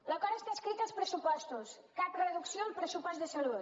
l’acord està escrit als pressupostos cap reducció al pressupost de salut